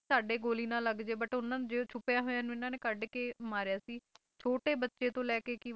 ਕਈ ਛੁਪ ਗਏ ਸੀਗੇ ਕਿ ਸਾਡੇ ਗੋਲੀ ਨਾ ਲੱਗ ਜਾਈ ਪਰ ਉਨ੍ਹਾਂ ਨੂੰ ਜਿਹੜਾ ਛੁਪੀਆਂ ਹੋਇਆ ਨੇ ਕੱਢ ਕੇ ਇਨ੍ਹਾਂ ਨੇ ਮਾਰੀਆ ਸੀ ਛੋਟੇ ਬੱਚੇ ਤੋਂ ਲੈ ਕੇ ਕੀ ਵੱਡੇ ਤੱਕ ਬਹੁਤ ਬੁਰੀ ਹਾਲਤ ਹੋ ਗਈ ਸੀ